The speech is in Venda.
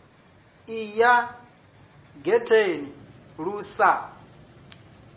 ḓi ya getheni lu sa